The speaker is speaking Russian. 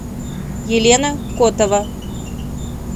елена котова